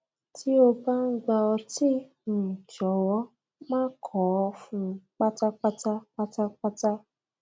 tí ó bá ń gbà ọtí um jọwọ máa kọ ọ um pátápátá pátápátá